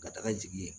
Ka taga jigin yen